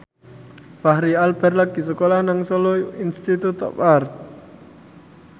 Fachri Albar lagi sekolah nang Solo Institute of Art